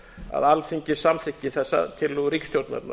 að alþingi samþykki þessar tillögur ríkisstjórnarinnar